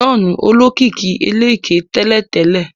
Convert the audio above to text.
John olókìkí ẹlẹ̀kẹ tẹ́lẹ̀tẹ́lẹ̀